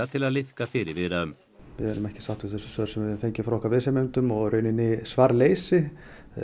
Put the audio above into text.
til að liðka fyrir viðræðum við erum ekki sátt við þau svör sem við höfum fengið frá okkar viðsemjendum og í raun svarleysi